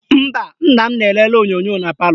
Mba, nna m na-elele onyonyo na palọ